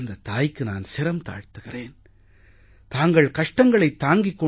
அந்தத் தாய்க்கு நான் சிரம் தாழ்த்துகிறேன் தாங்கள் கஷ்டங்களைத் தாங்கிக்